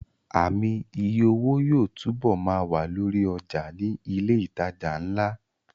Ààmì iye owó yóò túbọ̀ ma wà lórí ọjà ní ilẹ̀ ìtajà ńlá